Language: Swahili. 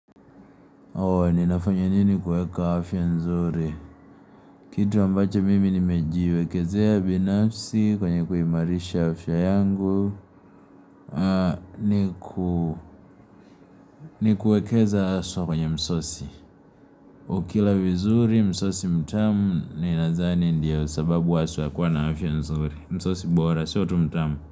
Ooh, ninafanya nini kuweka afya nzuri? Kitu ambacho mimi nimejiwekezea binafsi kwenye kuimarisha afya yangu Ah, nikuwekeza haswa kwenye msosi. Ukila vizuri, msosi mtamu, ninadhani ndiyo sababu haswa ya kuwa na afya nzuri. Msosi bora, sio tu mtamu.